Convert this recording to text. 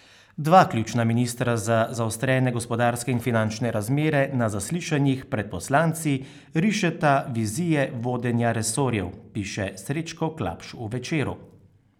Dva ključna ministra za zaostrene gospodarske in finančne razmere na zaslišanjih pred poslanci rišeta vizije vodenja resorjev, piše Srečko Klapš v Večeru.